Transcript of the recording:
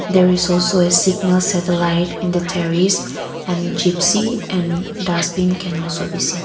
there is also a signal satellight in the terrace and gypsy and dustbin can also be seen.